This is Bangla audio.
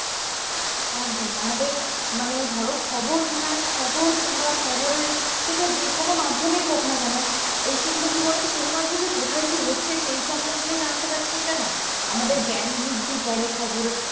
একদম আমাদের মানে ধরো খবর মানে খবর কিংবা খবরের সেটা যে কোনো মাধ্যমেই হোক না কেন এই সেগুলো কি বলতো শুধুমাত্র যে কোথায় কি হচ্ছে সেই সমন্ধে জানতে পারছি এটা না আমাদের জ্ঞান বৃদ্ধি করে খবর